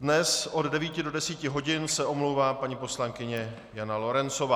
Dnes od 9 do 10 hodin se omlouvá paní poslankyně Jana Lorencová.